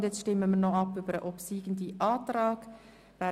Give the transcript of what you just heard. Nun stimmen wir noch über den obsiegenden Antrag ab.